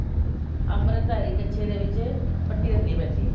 ਅਮ੍ਰਿਤਧਾਰੀ ਕੱਛੇ ਦੇ ਵਿੱਚ ਪੱਟੀ ਰੱਖਣੀ ਪੈਂਦੀ ਹੈ